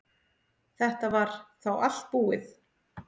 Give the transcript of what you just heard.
Þetta var þá allt búið.